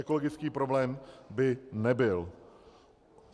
Ekologický problém by nebyl.